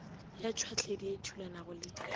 ya tšhwahledi e thulanago le